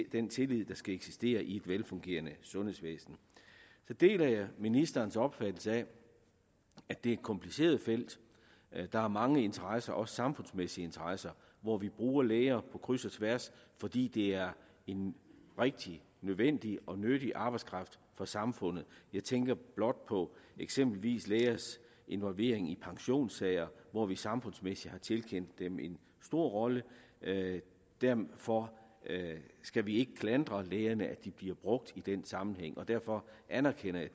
i den tillid der skal eksistere i et velfungerende sundhedsvæsen så deler jeg ministerens opfattelse af at det er et kompliceret felt der er mange interesser også samfundsmæssige interesser hvor vi bruger læger på kryds og tværs fordi det er en rigtig nødvendig og nyttig arbejdskraft for samfundet jeg tænker blot på eksempelvis lægers involvering i pensionssager hvor vi samfundsmæssigt har tildelt dem en stor rolle derfor skal vi ikke klandre lægerne for at de bliver brugt i den sammenhæng derfor anerkender jeg